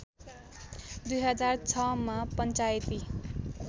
२००६ मा पञ्चायती